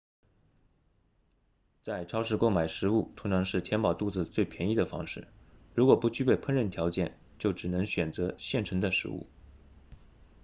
在超市购买食物通常是填饱肚子最便宜的方式如果不具备烹饪条件就只能选择现成的食物